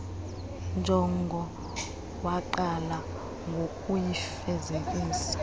njongo waqala ngokuyifezekisa